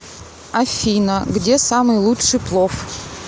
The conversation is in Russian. афина где самый лучший плов